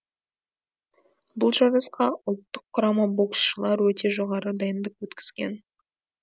бұл жарысқа ұлттық құрама боксшылары өте жоғары дайындық өткізген